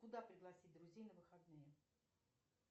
куда пригласить друзей на выходные